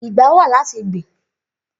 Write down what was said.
Igbà wá làtí gbin